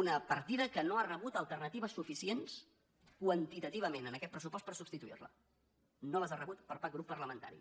una partida que no ha rebut alternatives suficients quantitativament en aquest pressupost per substituir la no les ha rebudes per cap grup parlamentari